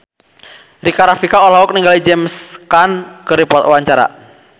Rika Rafika olohok ningali James Caan keur diwawancara